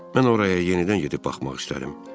Mən oraya yenidən gedib baxmaq istərəm.